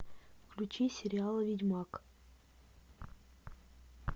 включи сериал ведьмак